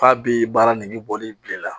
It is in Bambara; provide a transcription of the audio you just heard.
K'a bi baara nege bɔ n'i bilela